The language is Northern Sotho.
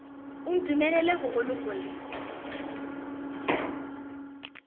o ntumelele go go lokolla